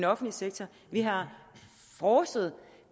offentlige sektor vi har frådset